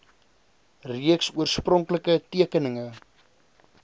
reeks oorspronklike tekeninge